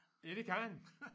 Ja det kan han